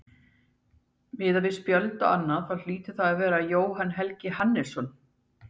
Miðað við spjöld og annað þá hlýtur það að vera Jóhann Helgi Hannesson.